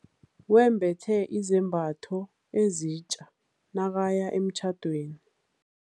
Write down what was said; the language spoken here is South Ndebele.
Wembethe izambatho ezitja nakaya emtjhadweni.